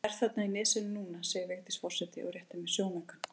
Hún er þarna í nesinu núna segir Vigdís forseti og réttir mér sjónaukann.